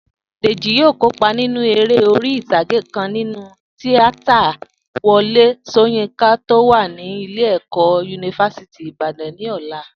Dèjì yóò kópa nínú eré orí ìtàgé kan nínú tíátà Wo̩lé S̩óyínká tó wà ní ilé-ẹ̀kọ́ yunifásítì Ìbàdàn ní ò̩la